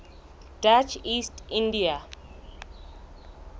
dutch east india